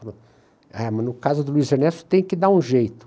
Ah, mas no caso do Luiz Ernesto tem que dar um jeito.